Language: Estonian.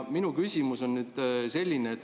Minu küsimus on nüüd selline.